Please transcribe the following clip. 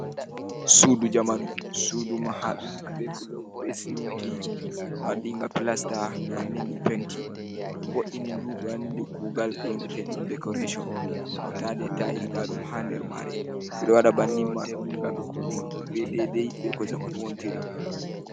Sudu jamanu. Sudu mahadum be blok, be siminti waɗinga plasta, ɓe wanni ɗum penti ɓe vo ’ini ndu, be wanni ndum kugal 'yoneteɗum dekoreshon hautade be tayels. Nda ɗum ha nder mare. Ɓe waɗi bannin mai on gam dillugo be deidei be ko jamanu wonti ri.